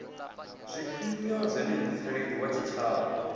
zwifhio zwine mutsireledzi wa tshitshavha